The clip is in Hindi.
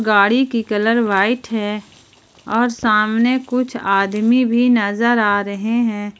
गाड़ी की कलर व्हाइट है और सामने कुछ आदमी भी नजर आ रहे हैं।